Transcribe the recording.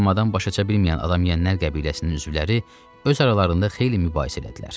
Bu müəmmadan baş açabilməyən adam yənlər qəbiləsinin üzvləri öz aralarında xeyli mübahisə etdilər.